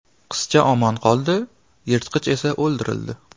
Qizcha omon qoldi, yirtqich esa o‘ldirildi.